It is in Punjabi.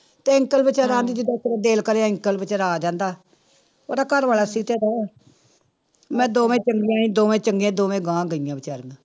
ਤੇ ਅੰਕਲ ਬੇਚਾਰਾ ਦਿਲ ਕਰੇ ਅੰਕਲ ਬੇਚਾਰਾ ਆ ਜਾਂਦਾ, ਉਹਦਾ ਘਰ ਵਾਲਾ ਸੀਤੇ ਦਾ ਮੈਂ ਦੋਵੇਂ ਚੰਗੀਆਂ ਸੀ ਦੋਵੇਂ ਚੰਗੀਆਂ ਦੋਵੇਂ ਗਾਂਹ ਗਈਆਂ ਬੇਚਾਰੀਆਂ।